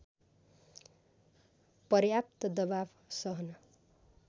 पर्याप्त दबाव सहन